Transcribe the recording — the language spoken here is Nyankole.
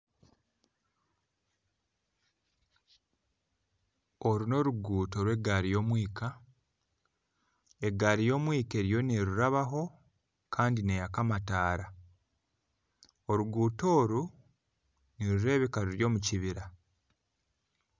Oru n'oruguuto rw'egaari y'omwika. Egaari y'omwika eriyo neerurabaho kandi neyaka amataara. Oruguuto oru nirureebeka ruri omu kibira.